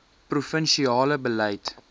provin siale beleid